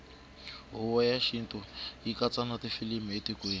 hhuvo yatashintfu yikatsa natifilimu latikweni